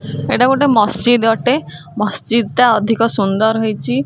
ଏଇଟା ଗୋଟେ ମସଜିଦ ଅଟେ ମସଜିଦ ଟା ଅଧିକ ସୁନ୍ଦର ହେଇଛି।